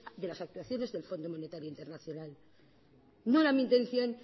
de las actuaciones del fondo monetario internacional no era mi intención